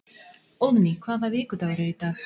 Óðný, hvaða vikudagur er í dag?